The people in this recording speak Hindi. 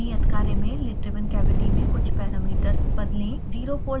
नियत कार्य में: lid driven cavity में कुछ पैरामीटर्स बदलें